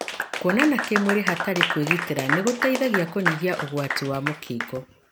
Kuonana kĩmwĩrĩ hatarĩ kwĩgitĩra nĩgũteithagia kũnyihia ũgwati wa mũkingo.